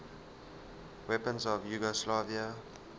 weapons of yugoslavia